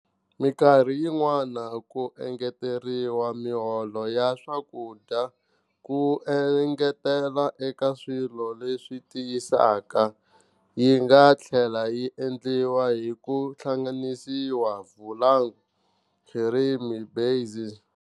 Minkarhi yin'wana ku engeteriwa mihlovo ya swakudya ku engetela eka swilo leswi tiyisaka. Yinga tlhela yi endliwa hiku hlanganisa flavoured cream base.